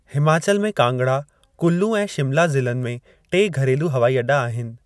हिमाचल में कांगड़ा, कुल्लू ऐं शिमला ज़िलनि में टे घरेलू हवाई अॾा आहिनि।